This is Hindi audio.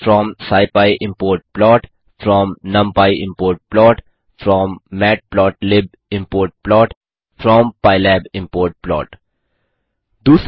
from scipy import plot from numpy import plot from matplotlib import plot from pylab import plot 2